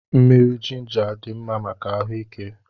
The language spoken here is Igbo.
Mmiri jịnjà dị mmá màkà ahuike